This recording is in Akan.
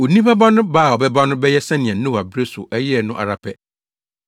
Onipa Ba no ba a ɔbɛba no bɛyɛ sɛnea Noa bere so ɛyɛɛ no ara pɛ.